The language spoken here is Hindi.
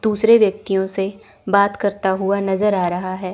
दूसरे व्यक्तियों से बात करता हुआ नजर आ रहा है।